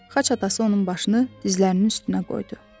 Xaç atası onun başını dizlərinin üstünə qoydu.